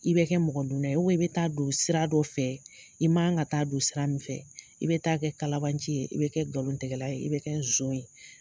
I bɛ kɛ mɔgɔ dunnan ye u bɛn i bɛ taa don sira dɔ fɛ i'man ka taa don sira min fɛ i bɛ kɛ kalabanci ye i bɛ kɛ galon tɛgɛla ye i bɛ kɛ zon ye